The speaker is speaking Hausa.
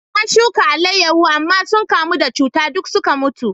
Na shuka alayyahu, amma sun kamu da cuta duk suka mutu.